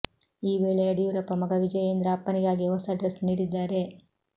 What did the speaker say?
ಈ ವೇಳೆ ಯಡಿಯೂರಪ್ಪ ಮಗ ವಿಜಯೇಂದ್ರ ಅಪ್ಪನಿಗಾಗಿ ಹೊಸ ಡ್ರೆಸ್ ನೀಡಿದ್ದಾರೆ